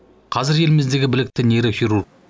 қазір еліміздегі білікті нейрохирург